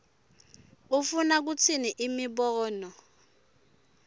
ufuna kutsini imibono